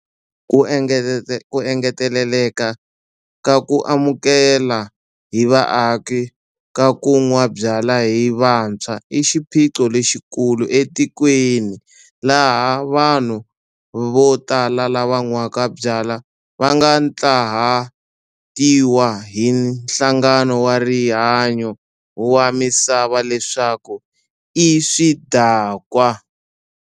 Ku engeteleka ka ku amukela hi vaaki ka ku nwa byala hi vantshwa i xiphiqo lexikulu etikweni laha vanhu vo tala lava nwaka byala va nga ntlawahatiwa hi Nhlangano wa Rihanyo wa Misava leswaku i swidakwa.